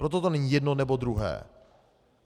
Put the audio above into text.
Proto to není jedno, nebo druhé.